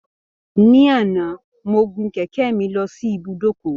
Ní àná, mo gun kẹ̀kẹ́ mi lọ sí ibùdókọ̀